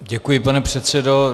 Děkuji, pane předsedo.